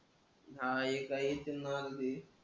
हां एका एक मार्ग आहे.